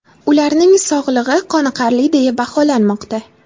Ularning sog‘lig‘i qoniqarli deya baholanmoqda.